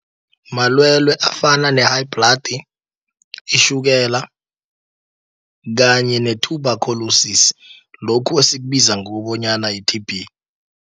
Malwele afana ne-high blood, itjhukela, kanye ne-tuberculosis, lokhu esikubiza ngokobonyana yi-T_B.